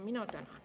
Mina tänan.